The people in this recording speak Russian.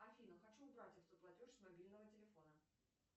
афина хочу убрать автоплатеж с мобильного телефона